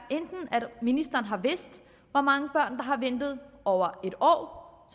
at ministeren har vidst hvor mange børn der har ventet over en år